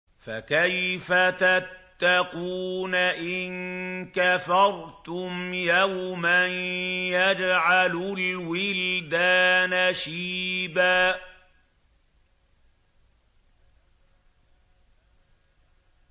فَكَيْفَ تَتَّقُونَ إِن كَفَرْتُمْ يَوْمًا يَجْعَلُ الْوِلْدَانَ شِيبًا